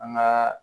An ka